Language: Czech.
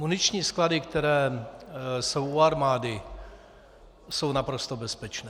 Muniční sklady, které jsou u armády, jsou naprosto bezpečné.